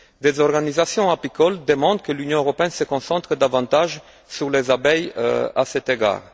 Des organisations apicoles demandent que l'Union européenne se concentre davantage sur les abeilles à cet égard.